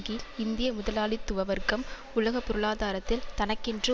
கீழ் இந்திய முதலாளித்துவ வர்க்கம் உலக பொருளாதாரத்தில் தனக்கென்று